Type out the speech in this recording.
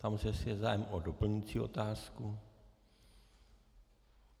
Ptám se, jestli je zájem o doplňující otázku.